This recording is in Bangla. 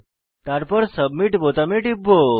তারপর সাবমিট বোতামে টিপব